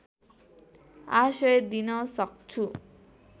आश्रय दिन सक्छु